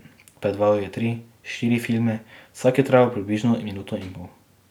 Predvajal je tri, štiri filme, vsak je trajal približno minuto in pol.